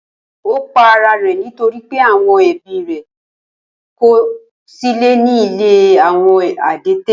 Ó pa ara rẹ̀ nítorí pé àwọn ẹbí rẹ̀ kọ̀ ọ́ sílẹ̀ ní ilé àwọn adẹ́tẹ̀.